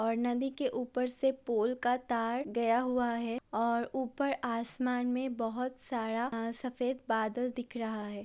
और नदी के ऊपर से पोल का तार गया हुआ है और ऊपर आसमान मे बोहोत सारा आ सफेद बादल दिख रहा है।